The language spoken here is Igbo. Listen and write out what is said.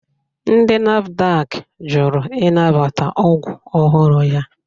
Ndi NAFDAK jụrụ ịnabata ọgwụ ọhụrụ ya